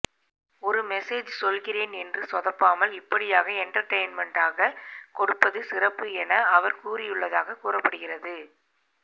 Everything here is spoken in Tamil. ஒரு மெசேஜ் சொல்கிறேன் என சொதப்பாமல் இப்படியாக எண்டர்டெயின்மெண்டாக கொடுப்பது சிறப்பு என அவர் கூறியுள்ளதாக கூறப்படுகிறது